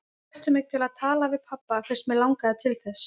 Þær hvöttu mig til að tala við pabba fyrst mig langaði til þess.